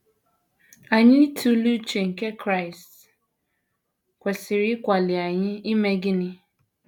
Anyị ịtụle uche nke Kraịst kwesịrị ịkwali anyị ime gịnị?